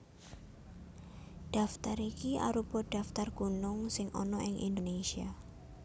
Daftar iki arupa daftar gunung sing ana ing Indonésia